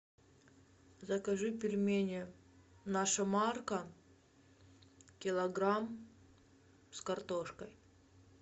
закажи пельмени наша марка килограмм с картошкой